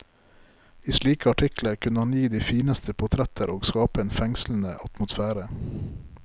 I slike artikler kunne han gi de fineste portretter og skape en fengslende atmosfære.